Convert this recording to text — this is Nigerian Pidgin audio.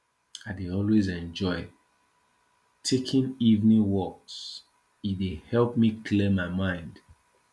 i dey always enjoy taking evening walks e dey help me clear my mind